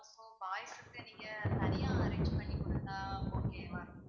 boys க்கு நீங்க தனியா arrange பண்ணி குடுத்தா okay வா இருக்கும்.